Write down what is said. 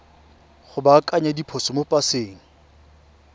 go baakanya diphoso mo paseng